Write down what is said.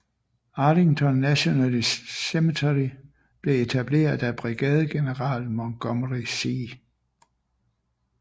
Arlington National Cemetery blev etableret af Brigadegeneral Montgomery C